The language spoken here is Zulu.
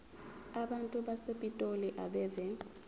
abantu basepitoli abeve